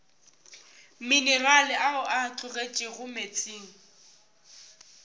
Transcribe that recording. minerale ao a tologetšego meetseng